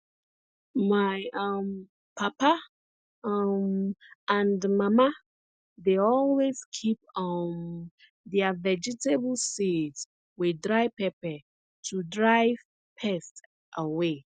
my um papa um and mama dey always keep um their vegetable seeds with dry pepper to drive pests away